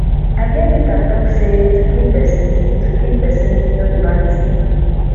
i hear peter talk say to kill person to kill person no be bad thing